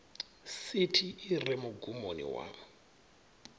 sithi i re mugumoni wa